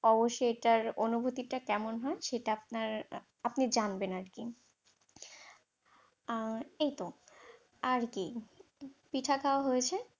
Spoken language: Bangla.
অবশ্যই এটার অনুভূতিটা কেমন হয় সেটা আপনার আপনি জানবেন আর কি। আর এই তো আর কি পিঠে খাওয়া হয়েছে।